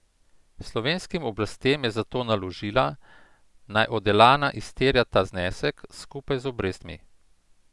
Slovenskim oblastem je zato naložila, naj od Elana izterja ta znesek skupaj z obrestmi.